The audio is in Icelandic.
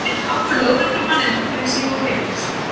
Þeir gáfu lögreglumanni nöfnin sín og heimilisföng.